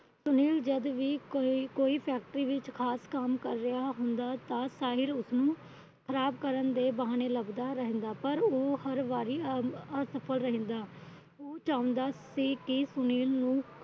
ਸੁਨੀਲ ਜਦ ਵੀ ਕੋਈ ਕੋਈ Factory ਵਿੱਚ ਖਾਸ ਕੰਮ ਕਰ ਰਿਹਾ ਹੁੰਦਾ। ਤਾਂ ਸਾਹਿਲ ਉਸਨੂੰ ਖਰਾਬ ਕਰਨ ਦੇ ਬਹਾਨੇ ਲੱਭਦਾ ਰਹਿੰਦਾ । ਪਰ ਉਹ ਹਰ ਵਾਰੀ ਅਸਫਲ ਰਹਿੰਦਾ। ਉਹ ਚਾਹੁੰਦਾ ਸੀ ਸੁਨੀਲ ਨੂੰ